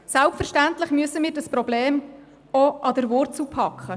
Selbstverständlich müssen wir dieses Problem auch an der Wurzel packen.